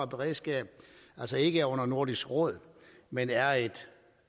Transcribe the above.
beredskab altså ikke er under nordisk råd men er et